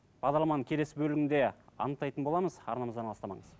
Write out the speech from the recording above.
бағдарламаның келесі бөлігінде анықтайтын боламыз арнамыздан алыстамаңыз